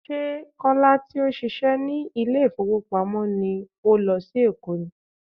Ṣé Kọ́lá tí ó ń ṣíṣe ní ilé ìfowópamọ́ ni ó lọ sí Èkó ni?